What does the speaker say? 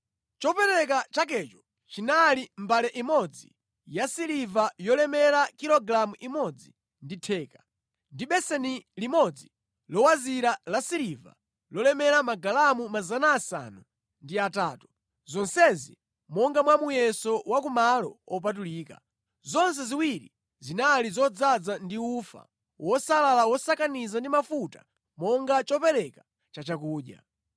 Chopereka chakecho chinali mbale imodzi yasiliva yolemera kilogalamu imodzi ndi theka, ndi beseni limodzi lowazira lasiliva lolemera magalamu 800, zonsezi monga mwa muyeso wa ku malo opatulika, zonse ziwiri zinali zodzaza ndi ufa wosalala wosakaniza ndi mafuta monga chopereka chachakudya;